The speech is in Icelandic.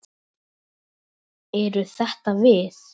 Eru þetta við?